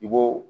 I b'o